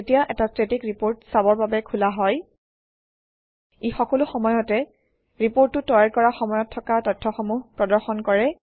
যেতিয়া এটা static report চাবৰ বাবে খোলা হয় ই সকলো সময়তে ৰিপৰ্টটো তৈয়াৰ কৰা সময়ত থকা তথ্যসমূহ প্ৰদৰ্শন কৰে